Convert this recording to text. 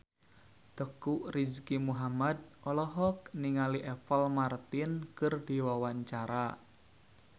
Teuku Rizky Muhammad olohok ningali Apple Martin keur diwawancara